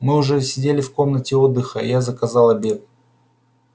мы уже сидели в комнате отдыха и я заказал обед